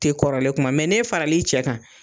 Tɛ kɔrɔlen kuma mɛ n'e faral'i cɛ kan,